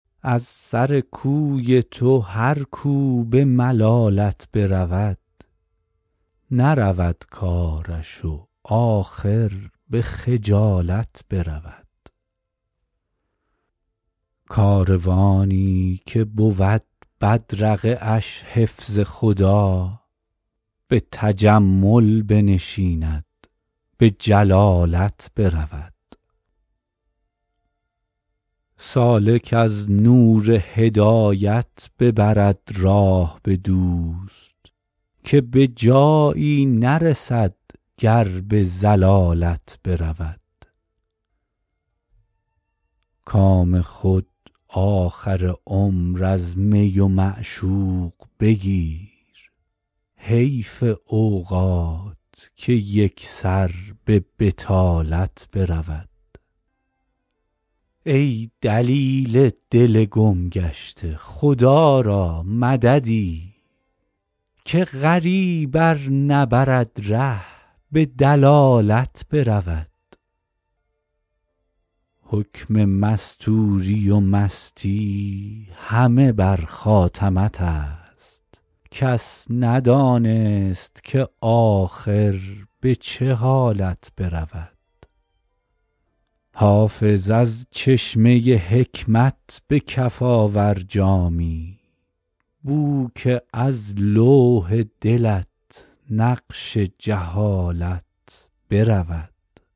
از سر کوی تو هر کو به ملالت برود نرود کارش و آخر به خجالت برود کاروانی که بود بدرقه اش حفظ خدا به تجمل بنشیند به جلالت برود سالک از نور هدایت ببرد راه به دوست که به جایی نرسد گر به ضلالت برود کام خود آخر عمر از می و معشوق بگیر حیف اوقات که یک سر به بطالت برود ای دلیل دل گم گشته خدا را مددی که غریب ار نبرد ره به دلالت برود حکم مستوری و مستی همه بر خاتمت است کس ندانست که آخر به چه حالت برود حافظ از چشمه حکمت به کف آور جامی بو که از لوح دلت نقش جهالت برود